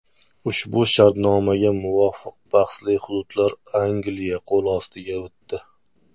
Ushbu shartnomaga muvofiq, bahsli hududlar Angliya qo‘l ostiga o‘tdi.